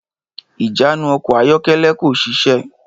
Ìjánu ọkọ̀ ayọ́kẹ́lẹ́ kò ṣiṣẹ́.